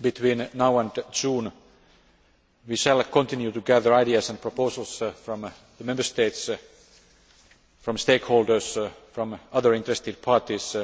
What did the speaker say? Between now and June, we shall continue to gather ideas and proposals from the Member States, from stakeholders and from other interested parties